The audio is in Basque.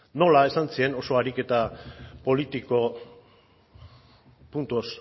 nola esan zien oso ariketa politiko puntos